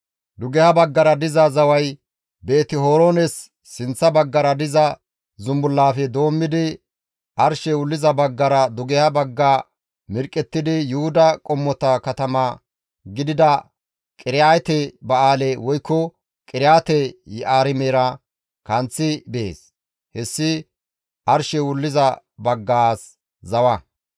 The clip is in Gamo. Dugeha baggara diza zaway Beeti-Horoones sinththa baggara diza zumbullaafe doommidi, arshey wulliza baggara dugeha bagga mirqqettidi Yuhuda qommota katama gidida Qiriyaate-Ba7aale woykko Qiriyaate-Yi7aarimera kanththi bees; hessi arshey wulliza baggaas zawa.